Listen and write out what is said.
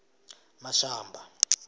mashamba